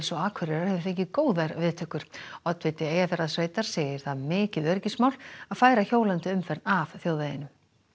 og Akureyrar hefur fengið góðar viðtökur oddviti Eyjafjarðarsveitar segir það mikið öryggismál að færa hjólandi umferð af þjóðveginum